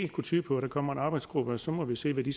kunne tyde på at der kommer en arbejdsgruppe og så må vi se hvad den